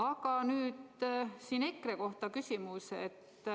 Aga nüüd küsimus EKRE kohta.